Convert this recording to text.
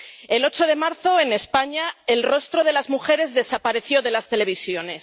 El 8 de marzo, en España, el rostro de las mujeres desapareció de las televisiones.